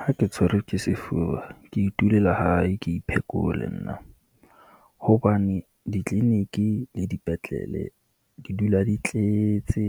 Ha ke tshwerwe ke sefuba, ke itulele hae ke iphekole nna, hobane ditleleniki le dipetlele di dula di tletse,